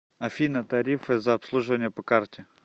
афина тарифы за обслуживание по карте